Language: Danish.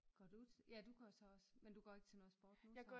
Går du ja du går så også men du går ikke til noget sport nu så?